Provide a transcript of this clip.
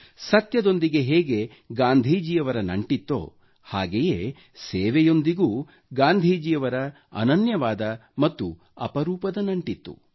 ಸತ್ಯದೊಂದಿಗೆ ಹೇಗೆ ಗಾಂಧೀಜಿಯವರ ನಂಟಿತ್ತೋ ಹಾಗೆಯೇ ಸೇವೆಯೊಂದಿಗೂ ಗಾಂಧೀಜಿಯವರ ಅನನ್ಯವಾದ ಮತ್ತು ಅಪರೂಪದ ನಂಟಿತ್ತು